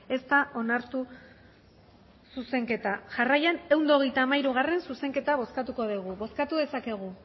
ez da onartu zuzenketa jarraian ehun eta hogeita hamairugarrena zuzenketa bozkatuko dugu bozkatu dezakegu